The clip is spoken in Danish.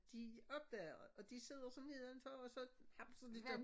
De opdager og de sidder så neden for og så hapser de dem